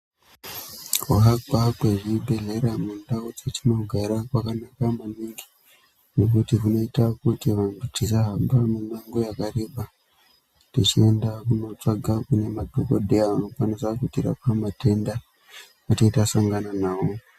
Kuakwa kwazvibhehlera mundau dzetinogara kwakanaka maningi ngekuti zvinoita kuti vanthu tisahamba mimango yakareba techienda kunotsvaka kune madhokodheya anokwanisa kutirape matenda ate tasangana nawo.